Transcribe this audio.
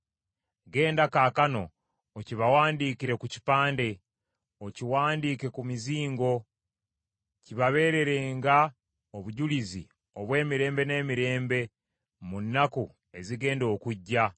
Genda kaakano, okibawandiikire ku kipande, okiwandiike ku mizingo, kibabeererenga obujulizi obw’emirembe n’emirembe mu nnaku ezigenda okujja.